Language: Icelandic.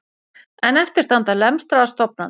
En eftir standa lemstraðar stofnanir